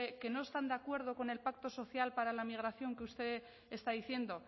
que no están de acuerdo con el pacto social para la migración que usted está diciendo